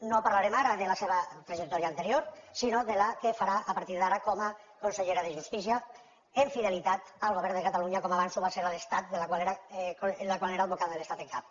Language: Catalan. no parlarem ara de la seva trajectòria anterior sinó de la que farà a partir d’ara com a consellera de justícia amb fidelitat al govern de catalunya com abans ho va ser amb l’estat del qual era advocada de l’estat en cap